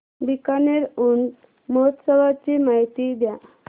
बीकानेर ऊंट महोत्सवाची माहिती द्या